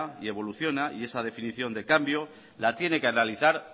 y evoluciona y esa definición de cambio la tiene que analizar